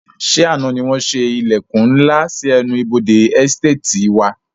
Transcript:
Ṣé àna ni wọn ṣe ilẹkun ńlá sì ẹnu ibodè "Ẹsteetì" wá?